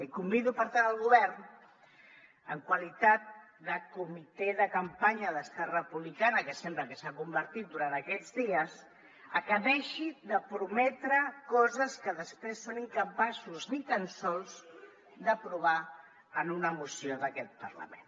i convido per tant el govern en qualitat de comitè de campanya d’esquerra republicana que sembla que s’ha convertit durant aquests dies a que deixi de prometre coses que després són incapaços ni tan sols d’aprovar en una moció d’aquest parlament